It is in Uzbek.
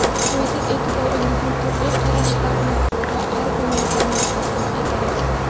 Quyida e’tiboringizga turli qarashlarni va argumentlarni taqdim etamiz.